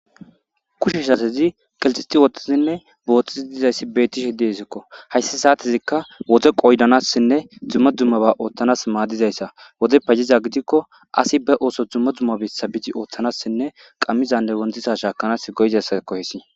Kushe satezi kaqeti utidi boxishe dizayisi betesiko hayis satezi wode qodanasanne duma duma goa madizayisa wode payodida gidiko asi be osso duma duma besa bidi othanasine qamnaza wontiza shakanas go'iasako hayisi